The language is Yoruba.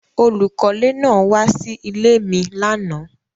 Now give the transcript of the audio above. Olúkọlẹ́ náà wa sí ilẹ̀ mi lánà.